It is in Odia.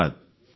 ଧନ୍ୟବାଦ